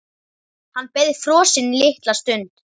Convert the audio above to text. Hann beið frosinn litla stund.